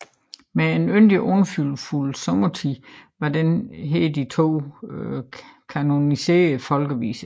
Med En yndig og frydefuld sommertid var den her de to kanoniserede folkeviser